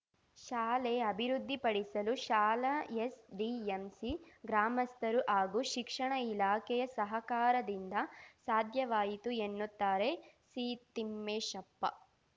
ಶಾಲೆ ಅಭಿವೃದ್ಧಿಪಡಿಸಲು ಶಾಲಾ ಎಸ್‌ಡಿಎಂಸಿ ಗ್ರಾಮಸ್ಥರು ಹಾಗೂ ಶಿಕ್ಷಣ ಇಲಾಖೆಯ ಸಹಕಾರದಿಂದ ಸಾಧ್ಯವಾಯಿತು ಎನ್ನುತ್ತಾರೆ ಸಿತಿಮ್ಮೇಶಪ್ಪ